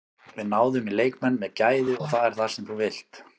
Við náðum í leikmenn með gæði og það er það sem þú vilt.